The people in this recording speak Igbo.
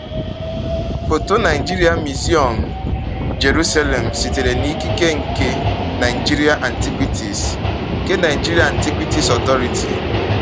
Foto © Naịjiria Miziọm, Jeruselem; sitere n’ikike nke Naịjiria Antiquities nke Naịjiria Antiquities Authority.